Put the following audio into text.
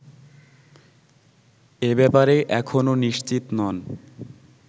এ ব্যাপারে এখনো নিশ্চিত নন